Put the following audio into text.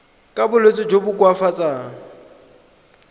ka bolwetsi jo bo koafatsang